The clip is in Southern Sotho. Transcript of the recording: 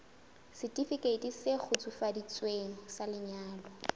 setifikeiti se kgutsufaditsweng sa lenyalo